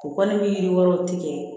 U kɔni ni yiri wɛrɛw tigɛ